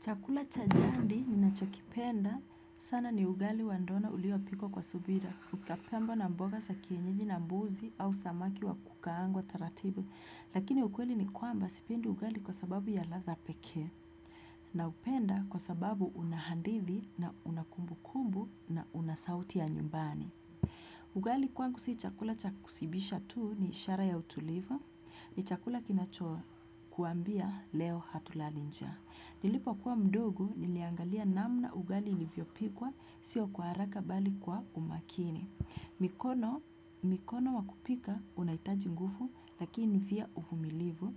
Chakula cha jadi ninacho kipenda. Sana ni ugali wa ndona ulio pikwa kwa subira. Ukapambwa na mboga sa kienyeji na mbuzi au samaki wa kukaangwa taratibu. Lakini ukweli ni kwamba sipendi ugali kwa sababu ya ladha pekee. Na upenda kwa sababu una hadithi na una kumbukumbu na una sauti ya nyumbani. Ugali kwangu si chakula cha kusibisha tuu ni ishara ya utulivu. Ni chakula kinacho kuambia leo hatulali njaa. Nilipo kuwa mdogo niliangalia namna ugali ilivyopikwa sio kwa haraka bali kwa umakini. Mikono wa kupika unaitaji ngufu lakini via uvumilivu.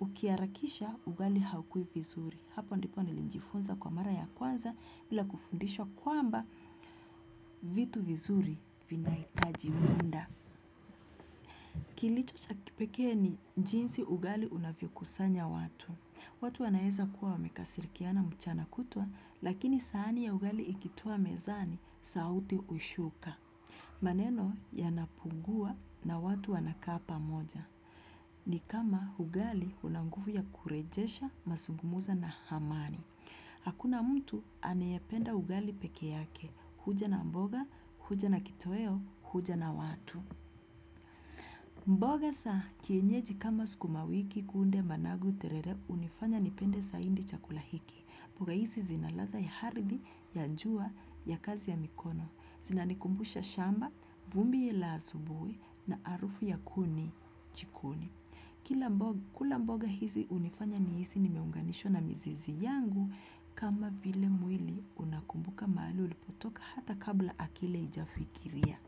Ukiharakisha ugali haukui vizuri. Hapo ndipo nilijifunza kwa mara ya kwanza bila kufundishwa kwamba vitu vizuri vinaitaji munda. Kilicho cha kipekee ni jinsi ugali unavyo kusanya watu. Watu wanaeza kuwa wamekasirikiana mchana kutwa, lakini sahani ya ugali ikitua mezani, sauti hushuka. Maneno yanapungua na watu wanakaa pamoja. Ni kama ugali una ngufu ya kurejesha, masungumuzo na hamani. Hakuna mtu anayependa ugali peke yake, huja na mboga, huja na kitoeo, huja na watu. Mboga saa kienyeji kama sukumawiki, kunde, managu, terere unifanya nipende saindi chakula hiki. Mboga hizi zina ladha ya aridhi ya njua ya kazi ya mikono. Zinanikumbusha shamba, vumbi la asubuhi na arufu ya kuni jikoni. Kila mboga, kula mboga hizi unifanya nihisi nimeunganishwa na mizizi yangu kama vile mwili unakumbuka mahali ulipotoka hata kabla akili haijafikiria.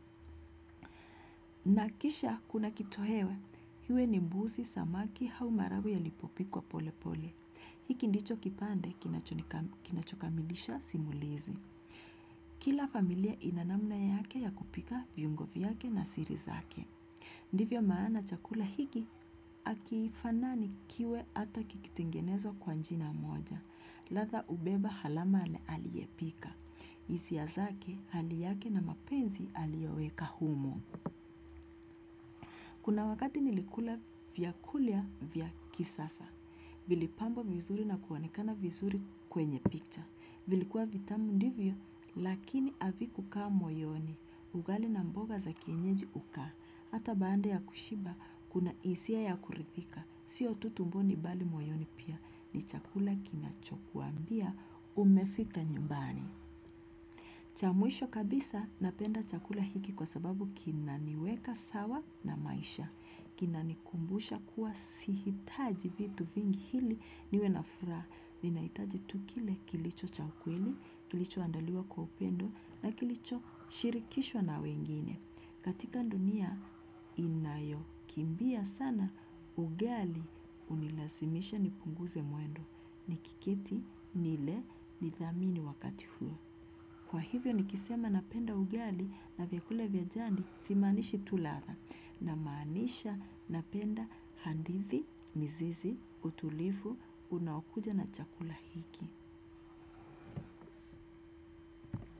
Na kisha kuna kitohewe, hiwe ni mbuzi samaki hau maharagwe yalipopikwa pole pole. Hiki ndicho kipande kinachokamilisha simulizi. Kila familia ina namna yake ya kupika viungo vyake na siri zake. Ndivyo maana, chakula hiki hakifanani kiwe ata kikitengenezwa kwa njina moja. Ladha hubeba halama ya aliyepika. Hisia zake, hali yake na mapenzi aliyoweka humo. Kuna wakati nilikula vyakula vya kisasa. Vilipambwa vizuri na kuonekana vizuri kwenye picha. Vilikuwa vitamu ndivyo, lakini havikukaa moyoni. Ugali na mboga za kienyeji hukaa. Hata baada ya kushiba, kuna hisia ya kurithika. Sio tu tumboni bali moyoni pia, ni chakula kinachokuambia umefika nyumbani. Cha mwisho kabisa napenda chakula hiki kwa sababu kinaniweka sawa na maisha. Kina nikumbusha kuwa sihitaji vitu vingi hili niwe na furaha. Ninaitaji tu kile kilicho cha kweli, kilicho andaliwa kwa upendo na kilicho shirikishwa na wengine. Katika ndunia inayokimbia sana ugali unilasimisha nipunguze mwendo. Nikiketi nile nithamini wakati huo. Kwa hivyo nikisema napenda ugali na vyakula vya jadi simaanishi tu ladha. Namaanisha napenda handithi, mizizi, utulivu, unaokuja na chakula hiki.